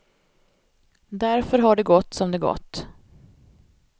Därför har det gått som det gått.